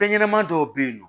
Fɛn ɲɛnɛma dɔw bɛ yen nɔ